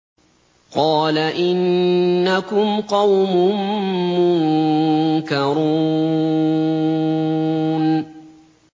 قَالَ إِنَّكُمْ قَوْمٌ مُّنكَرُونَ